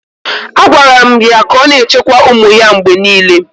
A gwaara m ya ka ọ na-echekwa ụmụ ya mgbe niile.